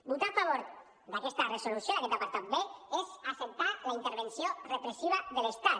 votar a favor d’aquesta resolució d’aquest apartat b és també acceptar la intervenció repressiva de l’estat